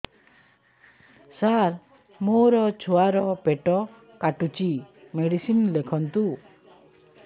ସାର ମୋର ଛୁଆ ର ପେଟ କାଟୁଚି ମେଡିସିନ ଲେଖନ୍ତୁ